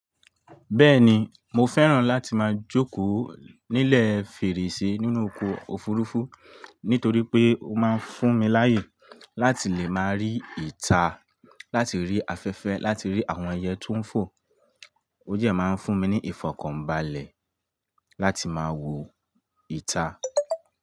Bẹ́ẹ̀ni, mo fẹ́ràn láti máa jókòó nílẹ̀ fèrèsé nínú ọkọ̀ òfurufú nítorí pé ó máa ń fún mi láyè láti lè máa rí ìta, láti rí afẹ́fẹ́, láti rí àwọn ẹyẹ tó ń fò. Ó dẹ̀ máa ń fún mi ní ìfọkànbalẹ̀ láti máa wo ìta.